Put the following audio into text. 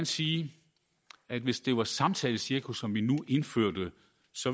sige at hvis det var samtalecirkus som vi nu indførte